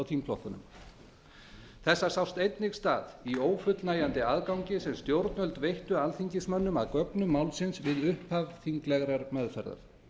þingflokkunum þessa sást einnig stað í ófullnægjandi aðgangi sem stjórnvöld veittu alþingismönnum að gögnum málsins við upphaf þinglegrar meðferðar